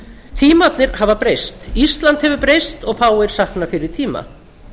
tímarnir hafa breyst ísland hefur breyst og fáir sakna fyrri tíma